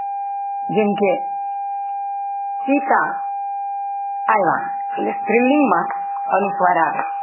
જેમકે સીતા આવ્યા એ સ્ત્રીલિંગમાં અને અનુસ્વાર આવે